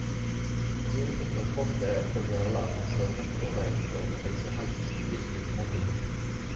Natiijooyinka qalfoofka ayaa inta badan la aqoonsadaa marka hore inta u dhaxaysa hal iyo seded iyo tawan bilood.